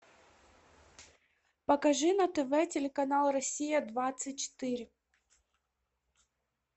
покажи на тв телеканал россия двадцать четыре